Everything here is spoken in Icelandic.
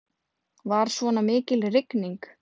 Var svona mikil rigning.